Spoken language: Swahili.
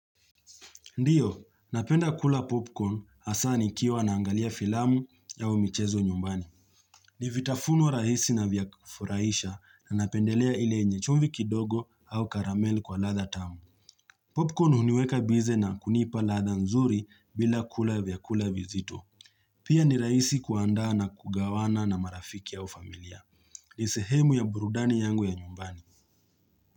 Ndiyo, napenda kula popcorn asani kia wanaangalia filamu ya umichezo nyumbani. Livitafunu rahisi na vyakufuraisha na napendelea ile nyechumvi kidogo au karamele kwa latha tamu. Popcorn uniweka bize na kunipa latha nzuri bila kula vyakula vizito. Pia ni rahisi kuanda na kugawana na marafiki ya ufamilia. Lisehemu ya burudani yangu ya nyumbani.